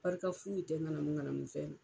Barika fuyi tɛ ŋanamuŋanamu fɛn na.